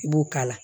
I b'o k'a la